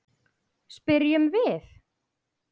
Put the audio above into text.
spyrjum við.